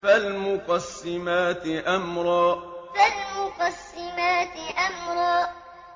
فَالْمُقَسِّمَاتِ أَمْرًا فَالْمُقَسِّمَاتِ أَمْرًا